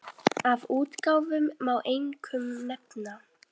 Af útgáfum má einkum nefna